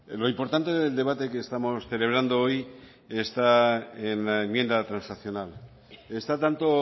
lo importante del debate que estamos celebrando hoy está en la enmienda transaccional está tanto